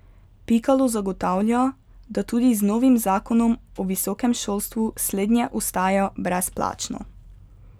Pikalo zagotavlja, da tudi z novim zakonom o visokem šolstvu slednje ostaja brezplačno.